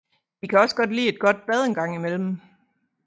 De kan også godt lide et godt bad engang imellem